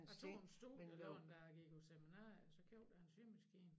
Jeg tog en studielån da jeg gik på seminaret så købte jeg en symaskine